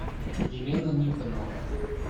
елена никонова